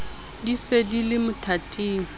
di se di le mothating